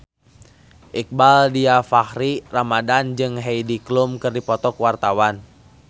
Iqbaal Dhiafakhri Ramadhan jeung Heidi Klum keur dipoto ku wartawan